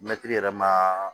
Mɛtiri yɛrɛ ma